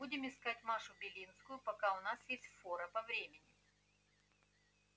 будем искать машу белинскую пока у нас есть фора по времени